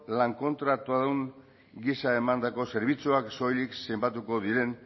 lankontratuadun gisa emandako zerbitzuak soilik zenbatuko diren